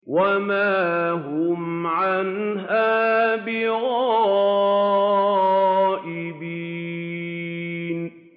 وَمَا هُمْ عَنْهَا بِغَائِبِينَ